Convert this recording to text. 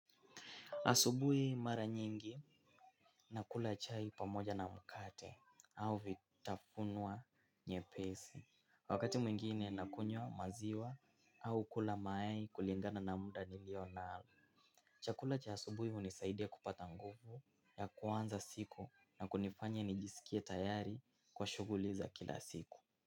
Asubuhi mara nyingi nakula chai pamoja na mkate au vitafunwa nyepesi. Wakati mwingine na kunywa maziwa au kula mayai kulingana na muda nilio nao. Chakula cha asubui hunisaidia kupata nguvu ya kuanza siku na kunifanya nijisikie tayari kwa shughuli za kila siku.